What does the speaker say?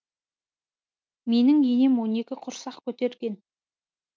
менің енем он екі құрсақ көтерген